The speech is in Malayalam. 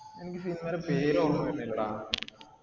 എനിക്ക് cinema ടെ പേര് ഓർമ്മ വരുന്നില്ലെടാ.